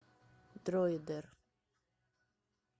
дроидер